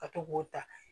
Ka to k'o ta